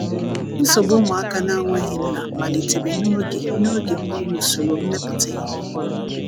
nsogbu ụmụaka na nweghi nna malitere n'oge n'oge mgbanwe ụsoro mmeputa ihe ọhuru